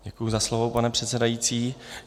Děkuji za slovo, pane předsedající.